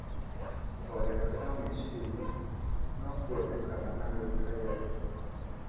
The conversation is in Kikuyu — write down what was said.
Kũhorera kwa meciria no kwonekane na gwĩka yoga.